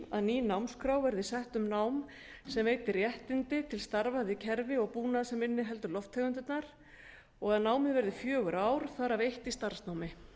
að ný námskrá verði sett um nám sem veiti réttindi til starfa við kerfi og búnað sem inniheldur lofttegundirnar og að námið verði fjögur ár þar af eitt í starfsnámi